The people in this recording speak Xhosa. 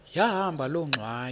yahamba loo ngxwayi